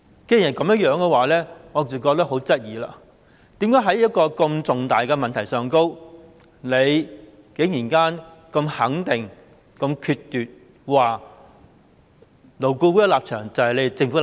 既然如此，我不禁要質疑，為甚麼在一個這麼重大的問題上，局長可以這麼肯定、決絕地說，勞顧會的立場就是政府的立場。